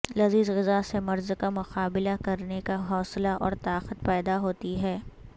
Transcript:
لذیذ غذا سے مرض کا مقابلہ کرنے کا حوصلہ اور طاقت پیدا ہوتی ہے